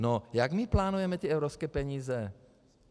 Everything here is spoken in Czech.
No, jak my plánujeme ty evropské peníze?